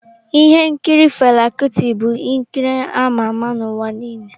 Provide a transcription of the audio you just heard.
Ihe nkiri Fela Kuti bụ nkiri ama ama n'ụwa niile.